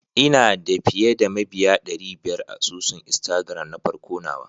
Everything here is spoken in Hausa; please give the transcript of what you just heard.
Ina da fiyeda mabiya dary biyar a asusun instagram nafarko nawa.